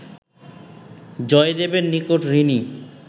জয়দেবের নিকট ঋণী